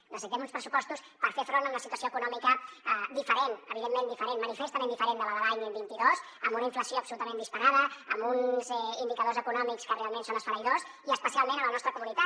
necessitem uns pressupostos per fer front a una situació econòmica diferent evidentment diferent manifestament diferent de la de l’any vint dos amb una inflació absolutament disparada amb uns indicadors econòmics que realment són esfereïdors i especialment a la nostra comunitat